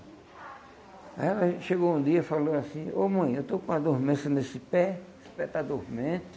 Aí ela chegou um dia e falou assim, ô mãe, eu estou com uma dormência nesse pé, esse pé está adormente,